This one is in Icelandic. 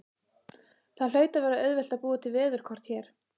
Það hlaut að vera auðvelt að búa til veðurkort hér.